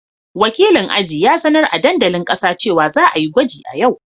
Wakilin aji ya sanar a dandalin kasa cewa za a yi gwaji a yau.